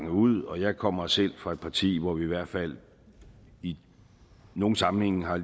ud og jeg kommer selv fra et parti hvor vi i hvert fald i nogle sammenhænge har